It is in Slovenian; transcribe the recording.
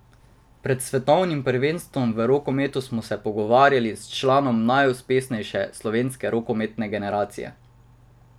Pred svetovnim prvenstvom v rokometu smo se pogovarjali s članom najuspešnejše slovenske rokometne generacije.